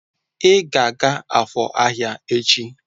Ị ga-aga Afor ahịa echi!